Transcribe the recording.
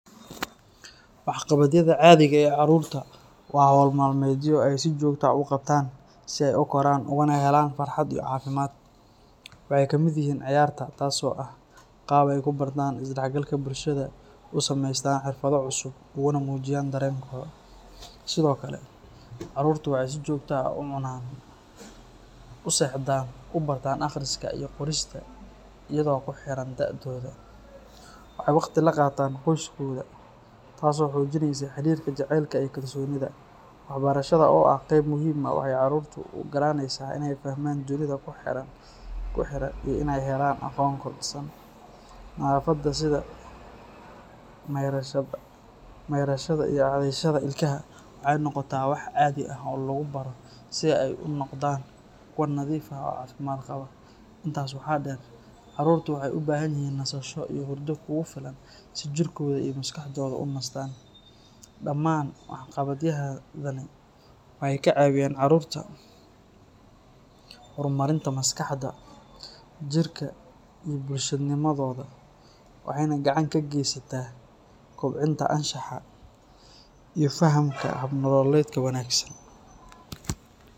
wax qabadyada caadiga eh ee caruurta waa nolo maalmedyo ay si joogte u qabtaan si ey u koran ugana helan cafimad ,wexey kamid yihiin ciyarta taas oo eh qaab ey kubartaan isdhaxgalka bulshada ku sameystaan xirfado cusub ugana mujiyaan dareenkoda. Sidokale caruurta wexey si jogta ah u cunaan,u sexdaan, ubartaan aqriska iyo qorista idoo kuxiran daadoda wexey waqti laqataan qoyskoda tasoo xojineyso xirirka jecelka ee kalsonida waxbarashada oo ah qeyb muhim ah 00 caruurta uogalaneyso iney fahmaan dunida kuxiran iney helaan aqon kordisan nadafadha sida meyrashada iyo cadeyashada ilkaha si ey u noqdaan kuwa nadiif ah oo cafimaad qawo intaas waxa dheer caruurta wexey ubahanyihiin nasasho iyo hurda kufilan si jirkoda iyo maskaxdoda unastaan, dhamaan wax qawadyada wey kacageen caruurta hormarinta maskaxda, jirka iyo bulshanimadooda wexeyna gacan kageysataa kubcinta anshaxa iyo fahanka habnololedka wanaagsan.